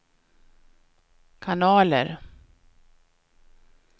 kanaler